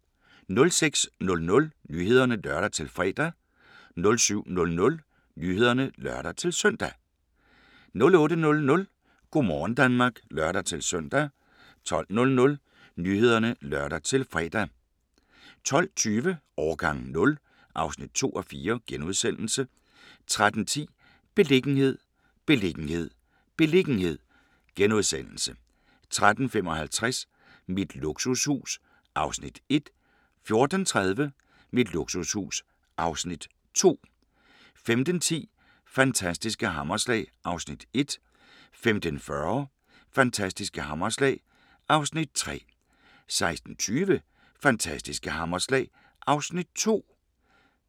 06:00: Nyhederne (lør-fre) 07:00: Nyhederne (lør-søn) 08:00: Go' morgen Danmark (lør-søn) 12:00: Nyhederne (lør-fre) 12:20: Årgang 0 (2:4)* 13:10: Beliggenhed, beliggenhed, beliggenhed * 13:55: Mit luksushus (Afs. 1) 14:30: Mit luksushus (Afs. 2) 15:10: Fantastiske hammerslag (Afs. 1) 15:40: Fantastiske hammerslag (Afs. 3)